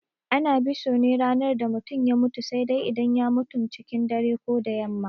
Ana biso ne a ranar da mutum ya mutu sai dai idan ya mutum cikin dare ko da yamma.